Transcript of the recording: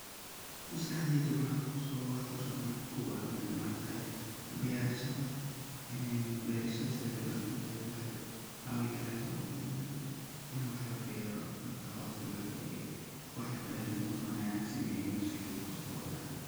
Maskexdeyda waxa kusodacayo waxa ka kow ah berashada sidey uwanagsantahay haba yarado, haweynado ina wax labero hata coos allah hakadige, waxa labero in uu wax wanagsan yahay maskaxdeyda kusodacde.